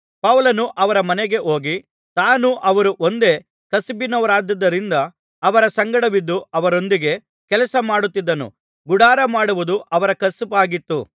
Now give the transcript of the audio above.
ಪೌಲನು ಅವರ ಮನೆಗೆ ಹೋಗಿ ತಾನೂ ಅವರೂ ಒಂದೇ ಕಸುಬಿನವರಾಗಿದ್ದುದರಿಂದ ಅವರ ಸಂಗಡವಿದ್ದು ಅವರೊಂದಿಗೆ ಕೆಲಸಮಾಡುತ್ತಿದ್ದನು ಗುಡಾರಮಾಡುವುದು ಅವರ ಕಸುಬಾಗಿತ್ತು